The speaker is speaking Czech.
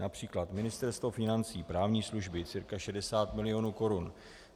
Například Ministerstvo financí, právní služby, cirka 60 milionů korun.